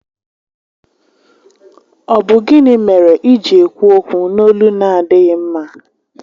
Ọ bụ gịnị mere iji ekwu okwu n'olu na adịghị mma?